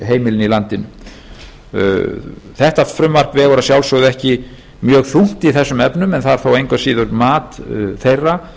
heimilin í landinu þetta frumvarp vegur að sjálfsögðu ekki mjög þungt í þessum efnum en það er þó engu að síður mat þeirra